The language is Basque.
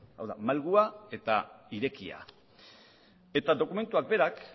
hau da malgua eta irekia eta dokumentuak berak